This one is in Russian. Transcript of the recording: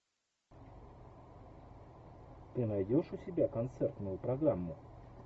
ты найдешь у себя концертную программу